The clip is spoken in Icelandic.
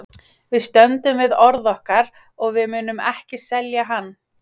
Við stöndum við orð okkar og við munum ekki selja hann.